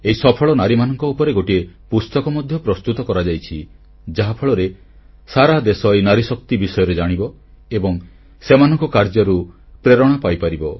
ଏହି ସଫଳ ନାରୀମାନଙ୍କ ଉପରେ ଗୋଟିଏ ପୁସ୍ତକ ମଧ୍ୟ ପ୍ରସ୍ତୁତ କରାଯାଇଛି ଯାହାଫଳରେ ସାରା ଦେଶ ଏହି ନାରୀଶକ୍ତି ବିଷୟରେ ଜାଣିବ ଏବଂ ସେମାନଙ୍କ କାର୍ଯ୍ୟରୁ ପ୍ରେରଣା ପାଇପାରିବ